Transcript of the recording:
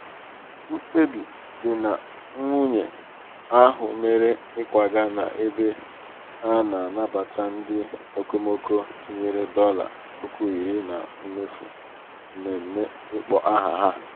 mkpebi di na nwunye ahụ mere ịkwaga n'ebe a na-anabata ndị okomoko tinyere dollar puku iri na mmefu mmemme ịkpọ aha ha.